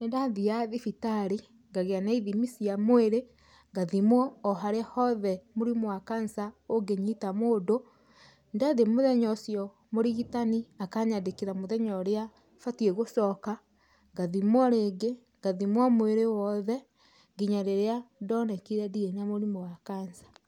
Nĩndathiaga thibitarĩ, ngagĩa na ithimi cia mwĩrĩ, ngathimwo o harĩa hothe mũrimũ wa cancer ũngĩnyita mũndũ. Ndathiĩ mũthenya ũcio mũrigitani akanyandĩkĩra mũthenya ũrĩa batiĩ gũcoka, ngathimwo rĩngĩ, ngathimwo mwĩrĩ wothe, nginya rĩrĩa ndonekire ndirĩ na mũrimũ wa cancer.